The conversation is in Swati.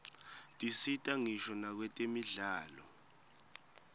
tisita ngisho nakwetemidlalo